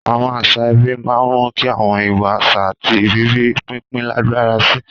Àwọn àṣà ẹbí máa ń mú kí àwọn ìwà, àṣà, àti ìrírí pínpín lágbára sí i.